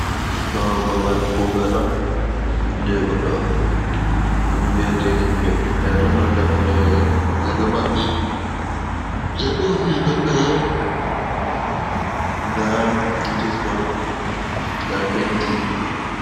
Ɗo babal kuugal on je goɗɗo. Ɗum viya je himɓe, nda ɗum ɗo dammuɗe maɓɓi, jei ofis maɓɓe mai. Nda notis bot, nda penti